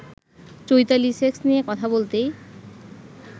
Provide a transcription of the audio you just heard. Chaitali sex নিয়ে কথা বলতেই